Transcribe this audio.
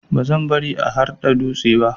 Bazan bari ya harba dutse ba.